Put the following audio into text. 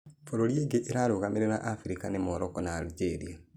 Bũrũri ingĩ irarũgamerera africa nĩ Morocco na algeria.